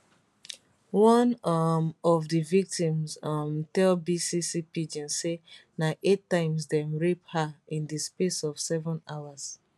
one um of di victims um tell bbc pidgin say na eight times dem rape her in di space of seven hours